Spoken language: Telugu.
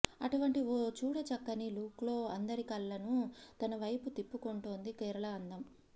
అటువంటి ఓ చూడచక్కని లుక్లో అందరి కళ్లను తన వైపు తిప్పుకుంటోందీ కేరళ అందం